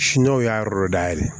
Siniwaw y'a yɔrɔ dɔ dayɛlɛ